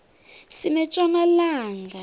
sinetjona langa